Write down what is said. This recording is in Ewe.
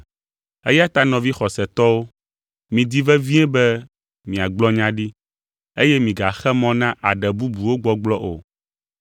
Eya ta nɔvi xɔsetɔwo, midi vevie be miagblɔ nya ɖi, eye migaxe mɔ na aɖe bubuwo gbɔgblɔ o.